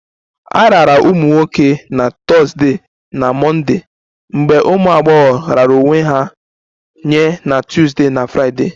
A raara ụmụ nwoke nye na Thursday na Mọnde mgbe ụmụ agbọghọ raara onwe ha nye na Tuesday na Friday